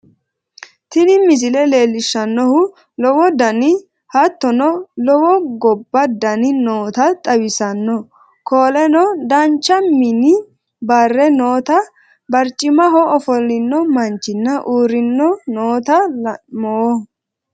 Tiini miisle leelshannohu llowo daani haatono loowo gooba daani noota xawisanno kooleno daanchu miini baare noota baarcmahoo offolino manchinna urrino noota laanmoo.